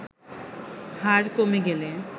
হার কমে গেলে